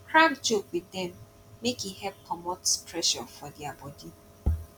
crack joke wit dem mek e help comot pressure for dia body